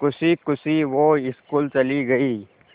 खुशी खुशी वो स्कूल चली गई